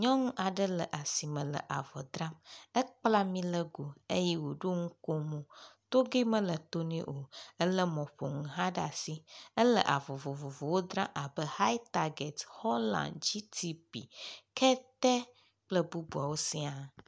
Nyɔŋu aɖe le sime le avɔ dram. Ekpla milégo eye wòɖo ŋukomo, togɛ mele to nɛ o. Elé mɔƒoŋu hã ɖa si. Ele avɔ vovovowo dra abe hitarget, Holland, GTP, kete kple bubuawo siaa.